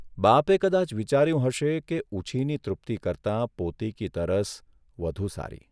બાપે કદાચ વિચાર્યું હશે કે ઉછીની તૃપ્તિ કરતાં પોતીકી તરસ વધુ સારી !